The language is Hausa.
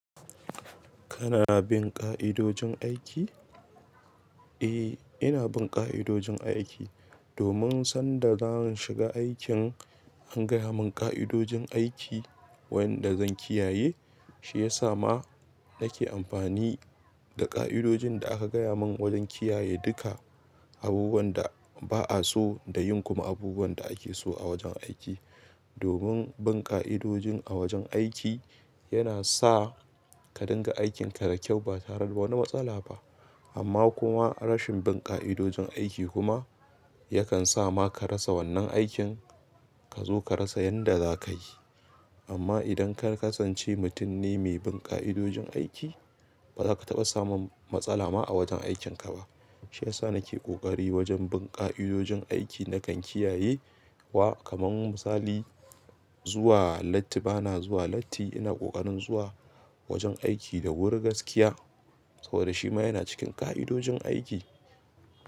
Kana bin ƙa'idojin aiki? Eh, ina bin ƙa'idojin aiki. Domin sanda zan shiga aikin an gaya mun ƙa'idojin aiki wayanda zan kiyaye, shi yasa ma nake amfani da ƙa'idojin da aka gaya mun wajen kiyaye duka abubuwan da ba'a so da yin kuma abubuwan da ake so a wajen aiki. Domin bin ƙa'idojin a wajen aiki yana sa ka dinga aikin ka da kyau ba tare da wani matsala ba. Amma kuma rashin bin ƙa'idojin aiki kuma yakan sa ma ka rasa wannan aikin. Ka zo ka rasa yanda za ka yi. Amma idan ka kasance mutum ne mai bin ƙa'idojin aiki, ba za ka taɓa samun matsala ma a wajen aikin ka ba. Shi yasa nake ƙoƙari wajen bin ƙa'idojin aiki nakan kiyaye wa kaman misali, zuwa lati. Ba na zuwa latti, ina ƙoƙarin zuwa wajen aiki da wuri gaskiya saboda shi ma yana cikin ƙa'idojin aiki.